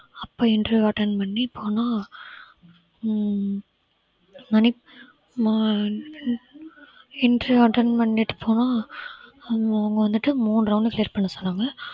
அப்ப interview attend பண்ணி போனா உம் மணி interview attend பண்ணிட்டு போனா அவங்க அவங்க வந்துட்டு மூணு round clear பண்ண சொன்னாங்க